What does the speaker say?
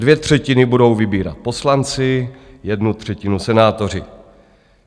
Dvě třetiny budou vybírat poslanci, jednu třetinu senátoři.